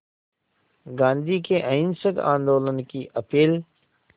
गांधी के अहिंसक आंदोलन की अपील